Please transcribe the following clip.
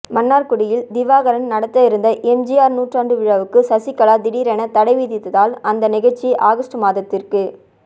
மன்னார்குடியில் திவாகரன் நடத்த இருந்த எம்ஜிஆர் நூற்றாண்டு விழாவுக்கு சசிகலா திடீரென தடை விதித்தால் அந்த நிகழ்ச்சி ஆகஸ்டு மாதத்திற்கு